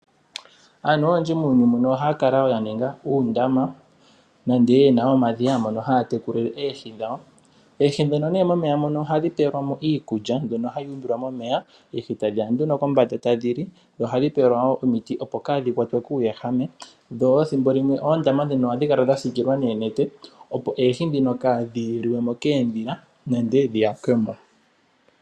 Aantu oyendji muuyuni muno ohaya kala ya ninga uundama nenge ye na uudhiya mono haya tekulile oohi dhawo. Oohi nee ndhono momeya ohadhi pewelwa mo iikulya mbyono hayi umbilwa momeya, oohi tadhiya nduno kombanda tadhi li, dho ohadhi pewelwa mo wo omiti, opo kaadhi kwatwe kuuwehame, dho ethimbo limwe oondama ndhino ohadhi kala dha siikilwa noonete, opo oohi kaadhi li we mo koondhila nenge dhi yakwe mo.